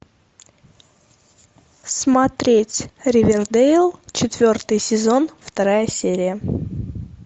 смотреть ривердэйл четвертый сезон вторая серия